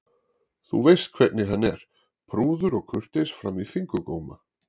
Þú veist hvernig hann er, prúður og kurteis fram í fingurgóma.